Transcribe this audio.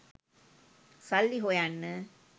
සල්ලි හොයන්න